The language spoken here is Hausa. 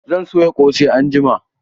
Zan soya ƙosai anjima